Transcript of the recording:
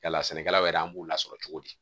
Yala sɛnɛkɛlaw yɛrɛ an b'u lasɔrɔ cogo di